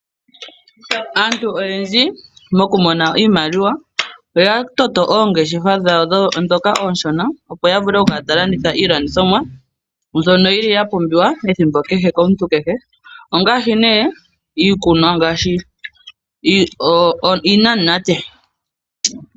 Aantu oyendji moku mona iimaliwa oya toto ongeshefa dhawo onshona. Opo ya vule ya vule oku kala taya landitha iilandithomwa mbyono yili yapumbiwa ethimbo kehe komuntu kehe. Ongaashi nee iikunwa ngaashi oonamunate.